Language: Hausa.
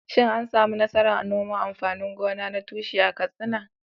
Shin an samu nasarar noman amfanin gona na tushe a Katsina?